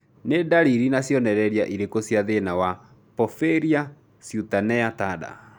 Nĩ ndariri na cionereria irĩkũ cia thĩna wa Porphyria cutanea tarda?